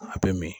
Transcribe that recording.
A bɛ min